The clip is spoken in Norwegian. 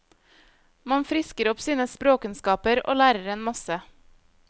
Man frisker opp sine språkkunnskaper og lærer en masse.